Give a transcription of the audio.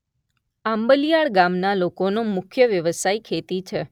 આંબલીયાળ ગામના લોકોનો મુખ્ય વ્યવસાય ખેતી છે.